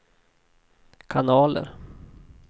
kanaler